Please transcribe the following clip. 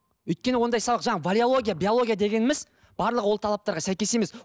өйткені ондай сабақ жаңа валеология биология дегеніміз барлығы ол талаптарға сәйкес емес